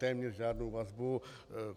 Téměř žádnou vazbu.